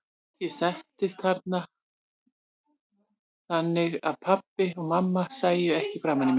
Ég settist þannig að pabbi og mamma sæju ekki framan í mig.